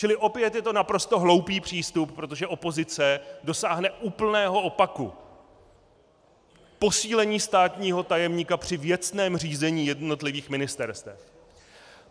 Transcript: Čili opět je to naprosto hloupý přístup, protože opozice dosáhne úplného opaku - posílení státního tajemníka při věcném řízení jednotlivých ministerstev.